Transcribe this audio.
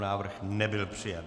Návrh nebyl přijat.